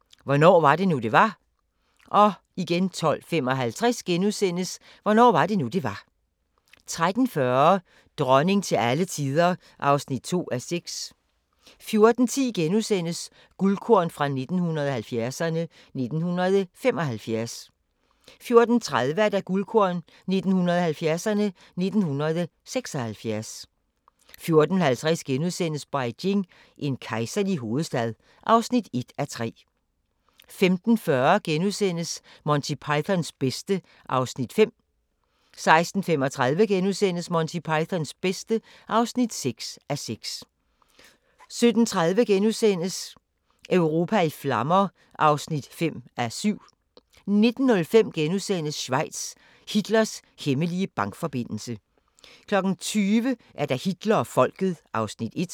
12:55: Hvornår var det nu, det var? 13:40: Dronning til alle tider (2:6) 14:10: Guldkorn 1970'erne: 1975 * 14:30: Guldkorn 1970'erne: 1976 14:50: Beijing – en kejserlig hovedstad (1:3)* 15:40: Monty Pythons bedste (5:6)* 16:35: Monty Pythons bedste (6:6)* 17:30: Europa i flammer (5:7)* 19:05: Schweiz – Hitlers hemmelige bankforbindelse * 20:00: Hitler og Folket (Afs. 1)